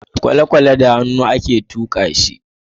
kwalekwale da hannu a ke tuka shi